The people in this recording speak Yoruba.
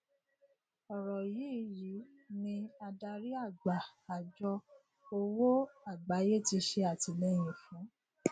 ọrọ yìí yìí ni adarí àgbà àjọ òwò àgbáyé ti ṣe àtìlẹyìn fún